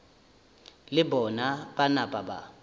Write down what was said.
le bona ba napa ba